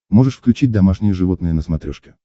можешь включить домашние животные на смотрешке